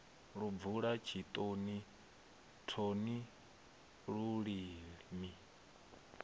lu bvula tshitoni thoni lulimi